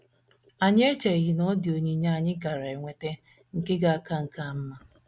Anyị echeghị na ọ dị onyinye anyị gaara enweta nke ga - aka nke a mma.